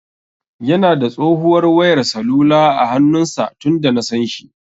Yana da tsohuwar wayar salula a hannun sa tunda nasan shi.